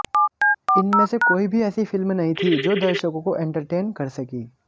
इनमें से कोई भी ऐसी फिल्म नहीं थी जो दर्शकों को एंटरटेन कर सकी